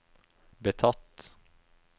betatt